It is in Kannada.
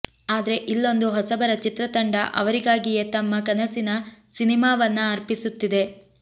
ಆದ್ರೆ ಇಲ್ಲೊಂದು ಹೊಸಬರ ಚಿತ್ರತಂಡ ಅವರಿಗಾಗಿಯೇ ತಮ್ಮ ಕನಸಿನ ಸಿನಿಮಾವನ್ನ ಅರ್ಪಿಸುತ್ತಿದೆ